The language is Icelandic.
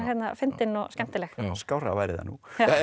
fyndin og skemmtileg skárra væri það nú